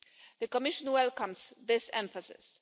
The Commission welcomes this emphasis.